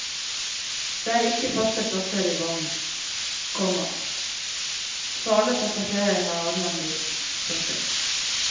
Det er ikke faste plasser i vognen, komma så alle passasjerer har adgang dit. punktum